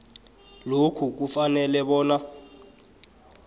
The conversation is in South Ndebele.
lokhu kufanele bona